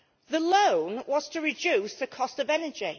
The loan was to reduce the cost of energy.